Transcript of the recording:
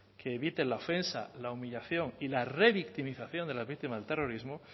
que eviten la ofensa la humillación y la revictimización de las víctimas del terrorismo